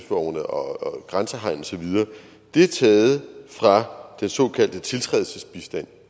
og grænsehegn osv er taget fra den såkaldte tiltrædelsesbistand